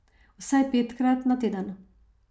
Vsaj petkrat na teden.